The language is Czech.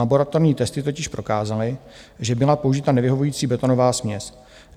Laboratorní testy totiž prokázaly, že byla použita nevyhovující betonová směs.